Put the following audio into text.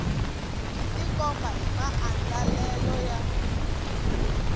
byi tikombisa hi maandlalelo ya